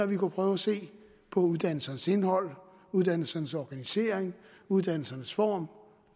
vi kunne prøve at se på uddannelsernes indhold uddannelsernes organisering uddannelsernes form